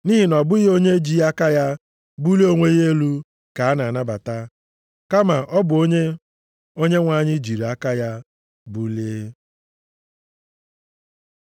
Nʼihi na ọ bụghị onye ji aka ya bulie onwe ya elu ka a na-anabata, kama ọ bụ onye Onyenwe anyị jiri aka ya bulie.